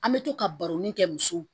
An bɛ to ka baroni kɛ muso